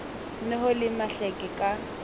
ne ho le mahleke ka